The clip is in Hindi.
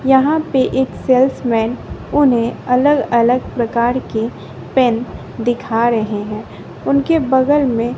यहाँ पे एक सेल्समैन उन्हें अलग अलग प्रकार की पेन दिखा रहे हैं उनके बगल में--